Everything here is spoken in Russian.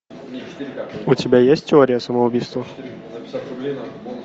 у тебя есть теория самоубийства